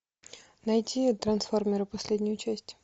найти трансформеры последнюю часть